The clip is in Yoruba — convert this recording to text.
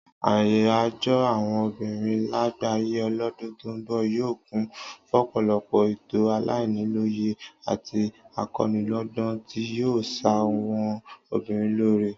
Àyájó̩ àwo̩n obìnrin lágbàáyé lọ́dún tó ń bò̩ yóò kún fọ́pò̩lo̩pò̩ ètò alaniló̩yè̩ àti ako̩niló̩gbó̩n tí yóò s̩àwo̩n obìnrin lóore